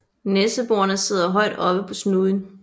Næseborene sidder højt oppe på snuden